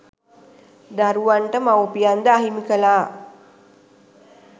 දරුවන්ට මවුපියන් ද අහිමි කළා.